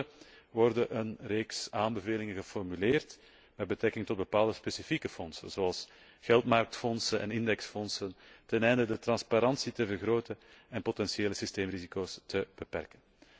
Tenslotte wordt een reeks aanbevelingen geformuleerd met betrekking tot bepaalde specifieke fondsen, zoals geldmarktfondsen en indexfondsen ten einde de transparantie te vergroten en potentiële systeemrisico's te beperken.